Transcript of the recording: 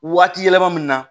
Waati yɛlɛma min na